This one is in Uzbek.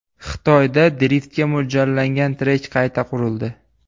Xitoyda driftga mo‘ljallangan trek qayta qurildi.